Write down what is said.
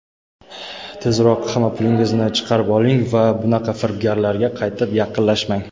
tezroq hamma pulingizni chiqarib oling va bunaqa firibgarlarga qaytib yaqinlashmang.